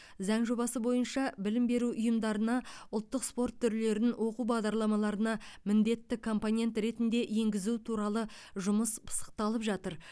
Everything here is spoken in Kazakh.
заң жобасы бойынша білім беру ұйымдарына ұлттық спорт түрлерін оқу бағдарламаларына міндетті компонент ретінде енгізу туралы жұмыс пысықталып жатыр